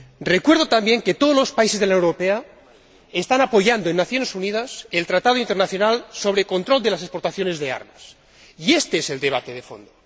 Recuerdo también que todos los países de la Unión Europea están apoyando en las Naciones Unidas el Tratado internacional sobre control de las exportaciones de armas, y éste es el debate de fondo.